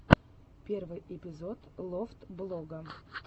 первый эпизод лофтблога